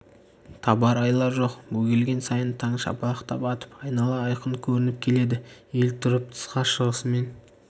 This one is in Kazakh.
табар айла жоқ бөгелген сайын таң шапақтап атып айнала айқын көрініп келеді ел тұрып тысқа шығысымен